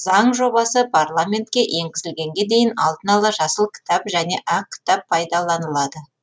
заң жобасы парламентке енгізілгенге дейін алдын ала жасыл кітап және ақ кітап пайдаланылады